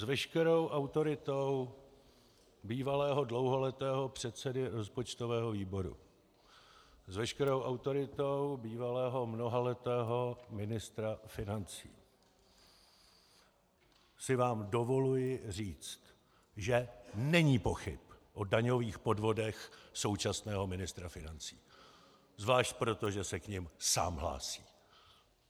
S veškerou autoritou bývalého dlouholetého předsedy rozpočtového výboru, s veškerou autoritou bývalého mnohaletého ministra financí si vám dovoluji říct, že není pochyb o daňových podvodech současného ministra financí - zvlášť proto, že se k nim sám hlásí.